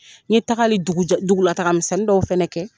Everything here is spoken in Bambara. N ye tagali dugujɔ dugulataga misɛnnin dɔw fana kɛ